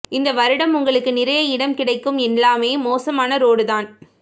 இந்த வருடம் உங்களுக்கு நிறைய இடம் கிடைக்கும் எல்லாமே மோசமான ரோடு தான்